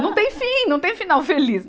Não tem fim, não tem final feliz.